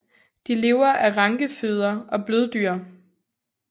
De lever af rankefødder og bløddyr